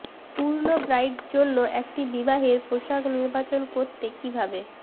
পূর্ণ ব্রাইড জন্য একটি বিবাহের পোশাক নির্বাচন করতে কিভাবে